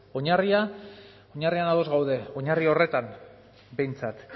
oinarria ados gaude oinarri horretan behintzat